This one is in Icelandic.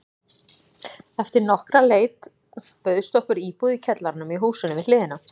Eftir nokkra leit bauðst okkur íbúð í kjallaranum í húsinu við hliðina.